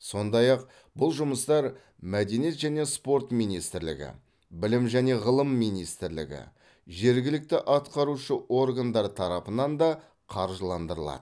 сондай ақ бұл жұмыстар мәдениет және спорт министрлігі білім және ғылым министрлігі жергілікті атқарушы органдар тарапынан да қаржыландырылады